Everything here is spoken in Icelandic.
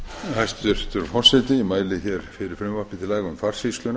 forseti ég mæli hér fyrir frumvarpi til laga um farsýsluna